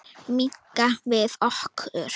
Minnka við okkur.